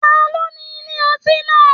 Taló ní ilé ọtí náà?